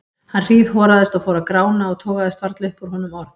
Hann hríðhoraðist og fór að grána og togaðist varla upp úr honum orð.